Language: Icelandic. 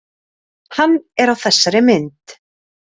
Hann er á þessari mynd.